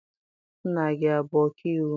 Nna gị abụ ọkaiwu?